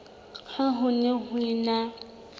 ha ho ne ho ena